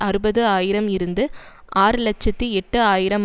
அறுபது ஆயிரம் இருந்து ஆறு இலட்சத்தி எட்டு ஆயிரம்